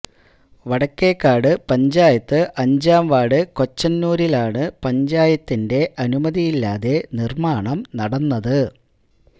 വടക്കേക്കാട് പഞ്ചായത്ത് അഞ്ചാം വാർഡ് കൊച്ചനൂരിലാണ് പഞ്ചായത്തിൻെറ അനുമതിയില്ലാതെ നിർമാണം നടന്നത്